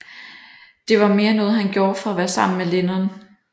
Det var mere noget han gjorde for at være sammen med Lennon